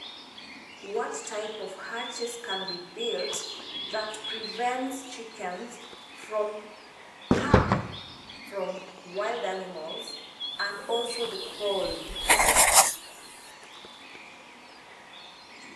wrong language